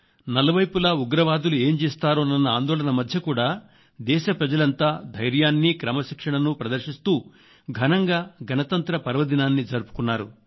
నలువైపులా ఉగ్రవాదులు ఏం చేస్తారోనన్న ఆందోళన మధ్య కూడా దేశ ప్రజలంగా ధైర్యాన్ని క్రమశిక్షణను ప్రదర్శిస్తూ ఘనంగా గణతంత్ర పర్వదినాన్ని జరుపుకున్నారు